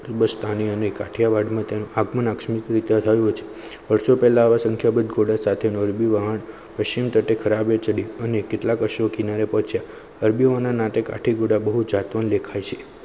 કુંભજ સ્થાને અને કાઠીયાવાડ તેમ વર્ષો પેલા સંખ્યાબદ ઘોડા સાથે નાદ્બી વહાણ પશ્ચિમ તટે ખરાબે ચડી અને કેટલાક અંશો કિનારે પહોંચે અરબીઓના ટેકાથીગુદા બહુત જાતો દેખાય છે.